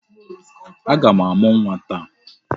Aga m amụ nwa taa.